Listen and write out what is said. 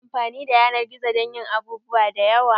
Ana iya amfani da yanar gizo dan yin abubuwa da yawa.